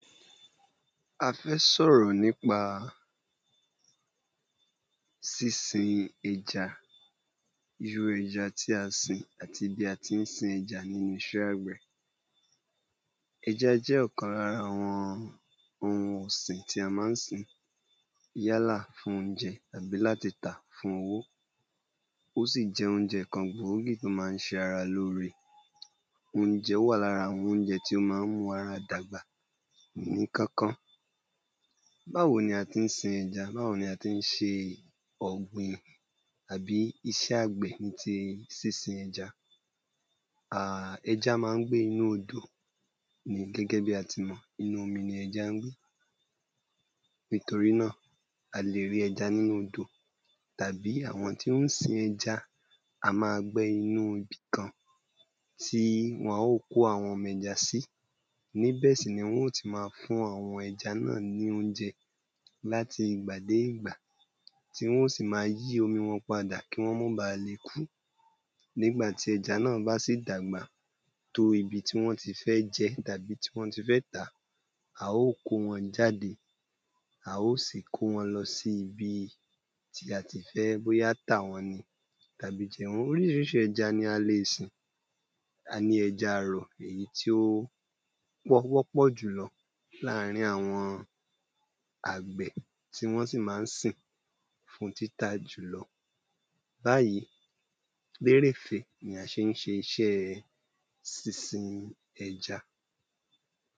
A fẹ́ sọ̀rọ̀ nípa sísìn ẹja irú ẹja tí a sìn ati bí a tí n sìn ẹja nínu iṣẹ́ àgbẹ̀. eja jẹ́ ọ̀kan lára awọn ohun ọ̀sìn tí a má n sìn yálà fún óunjẹ abi lati ta ̀ fún owó osì jẹ́ ónjẹ kan gbóògí to má n ṣe ara lóòre, óunjẹ to wà lára awọn óunjẹ to mú ara dàgbà ní Kankan. Báwo ní a tí n sìn ẹja, báwo ní a tí n ṣe ọ̀gbìn abi iṣẹ́ àgbẹ̀ ní ti sísìn ẹja. ẹja má n gbe inú odò ni gẹ́gẹ́ bi atímọ̀ inú omi ni ẹja n gbe nitori náa a le rí ẹja ninu odò tabi awọn tó n sìn ẹja a ma gbẹ̀ inú ibìkán tí wọn yio kó ọmọ ẹja si,́ ní bẹ si ni wọn yo ti má fún awọn ẹja ni óunjẹ lati ìgbà de ìgbà tí wọn yío si má yí omi wọn padà kí wọn ma ba lè kú nígbà tí ẹja náa ba si dàgbà tó ibi tí wọn tí fẹ́ jẹ́ tabi ti wọn ti fẹ́ tà, a o kó wọn jáde a o sì kó wọn lọ́ si ibi tí a tí fẹ́ boya tà wọn ni oríṣiríṣi ẹja ní a le sìn ` a ní ẹja àrọ̀ èyí tí o wọ́pọ̀ julo láàrín awọn àgbẹ̀ tí wọn si má n sìn fún títà julọ bayi gbérèfé ni a ṣé n ṣe sísìn ẹja